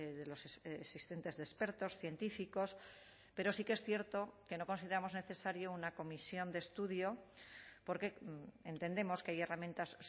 de los existentes de expertos científicos pero sí que es cierto que no consideramos necesario una comisión de estudio porque entendemos que hay herramientas